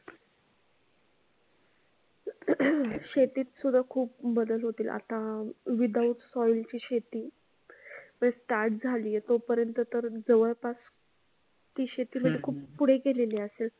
शेतीत सुद्धा खूप बदल होतील. आता without soil ची शेती बस start झाली आहे. तोपर्यंत तर जवळपास ती शेती सुरु झाली आहे जवळपास ती शेती म्हणजे खूप पुढे गेलेली असेल.